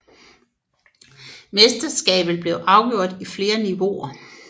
Mesterskabet blev afgjort i flere niveauer